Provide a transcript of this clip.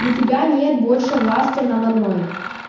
у тебя нет больше власти надо мной